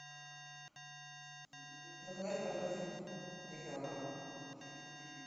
заказать картофель три килограмма